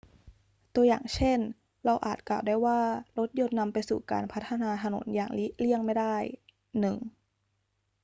ตัวอย่างเช่น เราอาจกล่าวได้ว่ารถยนต์นำไปสู่การพัฒนาถนนอย่างเลี่ยงไม่ได้ 1